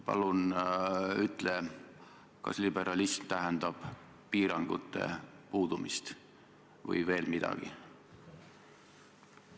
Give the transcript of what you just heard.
Palun ütle, kas liberalism tähendab piirangute puudumist või veel midagi?